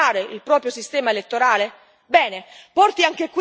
L'Estonia ha saputo rivoluzionare il proprio sistema elettorale?